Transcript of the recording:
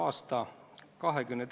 Aitäh!